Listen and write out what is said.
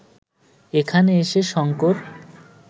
এখানে এসে শঙ্কর